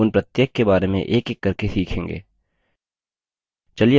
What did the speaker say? हम उन प्रत्येक के बारे में एकएक करके सीखेंगे